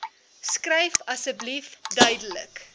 skryf asseblief duidelik